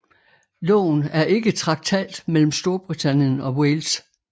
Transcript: Loven er ikke traktat mellem Storbritannien og Wales